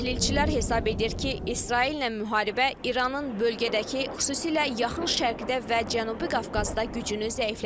Təhlilçilər hesab edir ki, İsraillə müharibə İranın bölgədəki, xüsusilə Yaxın Şərqdə və Cənubi Qafqazda gücünü zəiflədəcək.